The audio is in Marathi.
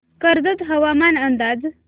कर्जत हवामान अंदाज